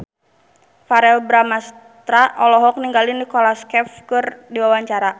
Verrell Bramastra olohok ningali Nicholas Cafe keur diwawancara